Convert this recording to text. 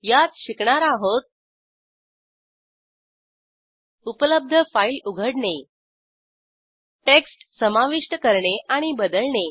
यात शिकणार आहोत उपलब्ध फाईल उघडणे टेक्स्ट समाविष्ट करणे आणि बदलणे